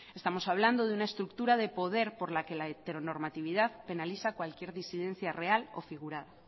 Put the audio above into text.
estamos hablando de una estructura de poder por la que la heteronormatividad penaliza cualquier disidencia real o figurada